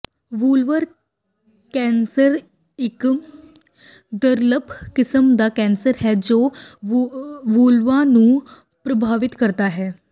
vulvar cancer ਇਕ ਦੁਰਲੱਭ ਕਿਸਮ ਦਾ ਕੈਂਸਰ ਹੈ ਜੋ ਵੁੱਲਵਾ ਨੂੰ ਪ੍ਰਭਾਵਿਤ ਕਰਦਾ ਹੈ